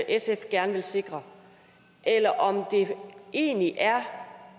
sf gerne vil sikre eller om det egentlig er